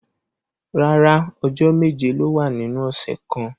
Rárá, ọjọ meje lo wa ninu ọsẹ kan.